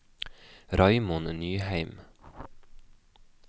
Raymond Nyheim